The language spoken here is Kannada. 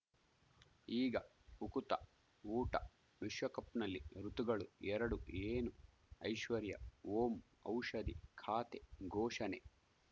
ಈಗ ಉಕುತ ಊಟ ವಿಶ್ವಕಪ್‌ನಲ್ಲಿ ಋತುಗಳು ಎರಡು ಏನು ಐಶ್ವರ್ಯಾ ಓಂ ಔಷಧಿ ಖಾತೆ ಘೋಷಣೆ